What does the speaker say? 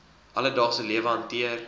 alledaagse lewe hanteer